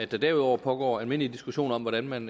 der derudover pågår almindelig diskussion om hvordan man